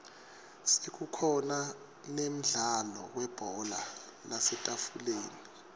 sekukhona nemdlalo webhola lasetafuleni